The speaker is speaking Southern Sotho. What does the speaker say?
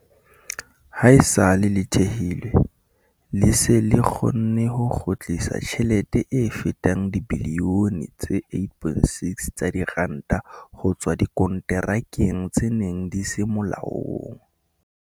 Haesale le thehilwe, le se le kgonne ho kgutlisa tjhelete e fetang dibilione tse 8.6 tsa diranta ho tswa dikonterakeng tse neng di se molaong.